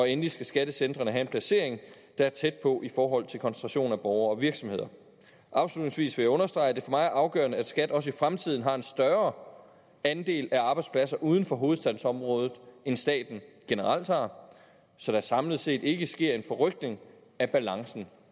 endelig skal skattecentrene have en placering der er tæt på i forhold til koncentrationen af borgere og virksomheder afslutningsvis vil jeg understrege at det for mig er afgørende at skat også i fremtiden har en større andel af arbejdspladser uden for hovedstadsområdet end staten generelt har så der samlet set ikke sker en forrykning af balancen